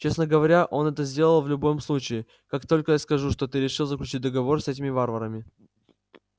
честно говоря он это сделал в любом случае как только я скажу что ты решил заключить договор с этими варварами